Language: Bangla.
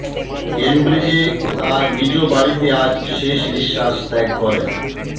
কেমব্রিজে তার নিজ বাড়িতে আজ শেষ নিঃশ্বাস ত্যাগ করেন